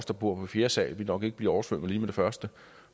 der bor på fjerde sal nok ikke bliver oversvømmet lige med det første